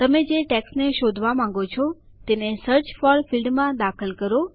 તમે જે ટેક્સટને શોધવા માંગો છો તેને સર્ચ ફોર ફીલ્ડમાં દાખલ કરો